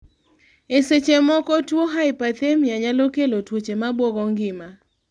e seche moko tuo hyperthemia nyalo kelo tuoche mabuogo ngima